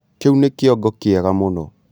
Kĩu nĩ kĩongo kĩega mũno.